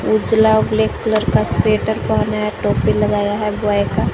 उजला और black colour का स्वेटर पहना है टोपी लगाया है बॉय का।